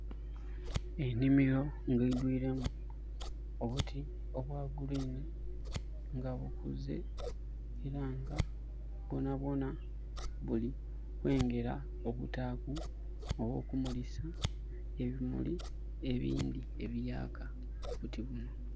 Enhimiro nga eidwilemu obuti obwa green nga bukuze. Era nga bwona bwona buli kwengera okutaaku oba okumulisa ebimuli ebindi ebiyaaka. Obuti buno.